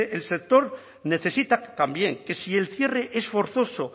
el sector necesita también que si el cierre es forzoso